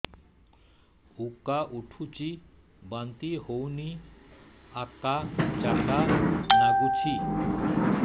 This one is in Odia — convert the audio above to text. ଉକା ଉଠୁଚି ବାନ୍ତି ହଉନି ଆକାଚାକା ନାଗୁଚି